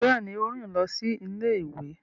Béèni, o rin lọ sí ilé-ìwé